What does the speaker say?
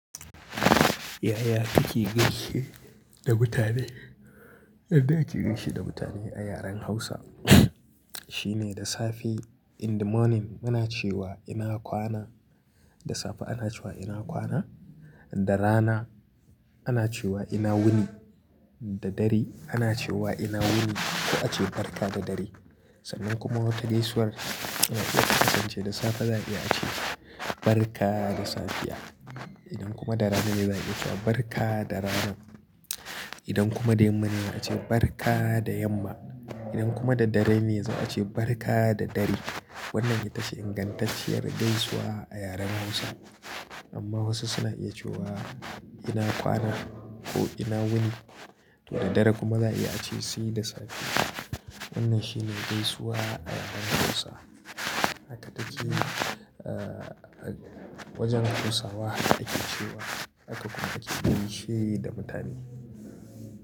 Yaya kuke gaishe da mutane? Yadda ake gaishe da mutane a yaren Hausa shine da safe in the morning, muna cewa ina kwana, da safe ana cewa ina kwana, da rana ana cewa ina wuni, da dare ana cewa ina wuni ko a ce barka da dare. Sannan kuma wata gaisuwar ana iya kasance da safe za'a iya ce barka da safiya. Idan kuma da rana ne za'a iya cewa barka da rana. Idan kuma da yamma ne a ce barka da yamma. Idan kuma da dare ne zai a ce barka da dare. Wannan ita ce ingantacciyar gaisuwa a yaren Hausa. Amma wasu suna iya cewa ina kwana ko ina wuni to da dare kuma za'a iya ce sai da safe. Wannan shi ne gaisuwa a yaren Hausa. Haka take wajen Hausawa ake cewa haka kuma ake gaishe da mutane.